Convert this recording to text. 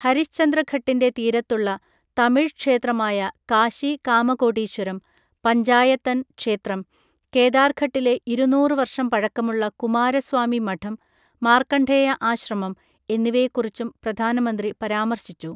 ഹരിശ്ചന്ദ്രഘട്ടിൻ്റെ തീരത്തുള്ള തമിഴ് ക്ഷേത്രമായ കാശി കാമകോടീശ്വരം പഞ്ചായതൻ ക്ഷേത്രം, കേദാർഘട്ടിലെ ഇരുന്നൂറ് വർഷം പഴക്കമുള്ള കുമാരസ്വാമി മഠം, മാർക്കണ്ഡേയ ആശ്രമം എന്നിവയെക്കുറിച്ചും പ്രധാനമന്ത്രി പരാമർശിച്ചു.